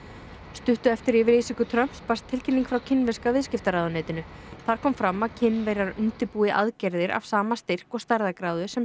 stuttu eftir yfirlýsingu Trumps barst tilkynning frá kínverska viðskiptaráðuneytinu þar kom fram að Kínverjar undirbúi aðgerðir af sama styrk og stærðargráðu sem